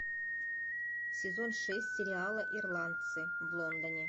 сезон шесть сериала ирландцы в лондоне